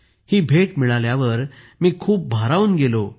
हा उपहार मिळाल्यावर मी खूप भारावून गेलो